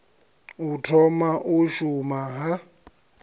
u thoma u shuma ha